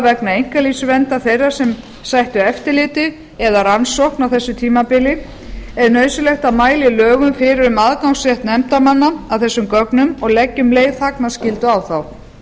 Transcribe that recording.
vegna einkalífsverndar þeirra sem sættu eftirliti eða rannsókn á þessu tímabili er nauðsynlegt að mæla í lögum fyrir um aðgangsrétt nefndarmanna að þessum gögnum og leggja um leið þagnarskyldu á þá